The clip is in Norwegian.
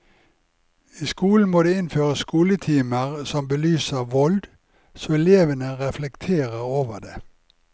I skolen må det innføres skoletimer som belyser vold, så elevene reflekterer over det.